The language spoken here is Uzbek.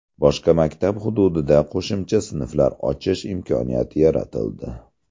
Boshqa maktab hududida qo‘shimcha sinflar ochish imkoniyati yaratildi.